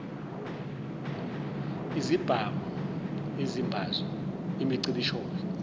izibhamu izimbazo imicibisholo